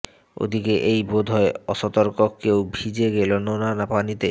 ওদিকে এই বোধহয় অসতর্ক কেউ ভিজে গেল নোনা পানিতে